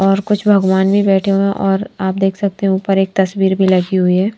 और कुछ भगवान भी बैठे हुए और आप देख सकते हैं ऊपर एक तस्वीर भी लगी हुई है।